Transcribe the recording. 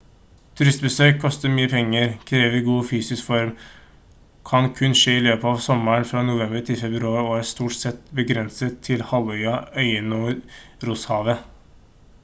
turistbesøk koster mye penger krever god fysisk form kan kun skje i løpet av sommeren fra november til februar og er stort sett begrenset til halvøya øyene og rosshavet